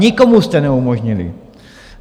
Nikomu jste neumožnili.